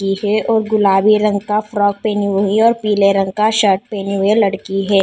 और गुलाबी रंग का फ्रॉक पहनी हुई है और पीले रंग का शर्ट पहनी हुई है लड़की है।